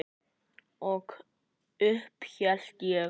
Og upp hélt ég.